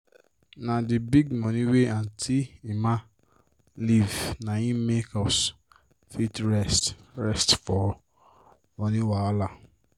na d big money wey auntie emma leave na hin make us fit rest rest for moni wahala.